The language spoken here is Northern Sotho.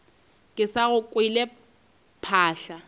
ke sa go kwe phaahla